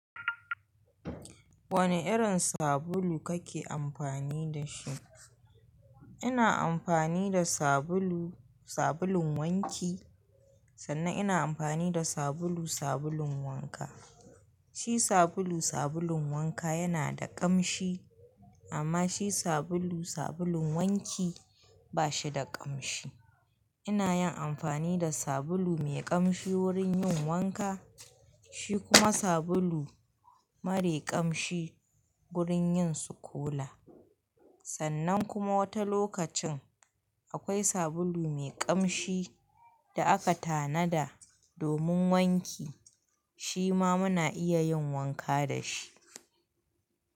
Wane irin sabulu kake amfani da shi? Ina amfani da sabulu, sabulun wanki, sannan ina amfani da sabulu, sabulun wanka. Shi sabulu, sabulun wanka yana da ƙamshi amma shi sabulu, sabulun wanki ba shi da ƙamshi. Ina yin amfani da sabulu mai ƙamshi wurin yin wanka, shi kuma sabulu marai ƙamshi wurin yin tsokola. Sannan kuma wata lokacin akwai sabulu mai ƙamshi da aka tanada domin wanki shi ma muna iya yin wanka da shi.